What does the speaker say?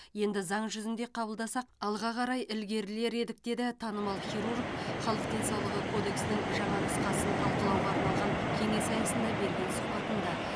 енді заң жүзінде қабылдасақ алға қарай ілгерілер едік деді танымал хирург халық денсаулығы кодексінің жаңа нұсқасын талқылауға арналған кеңес аясында берген сұхбатында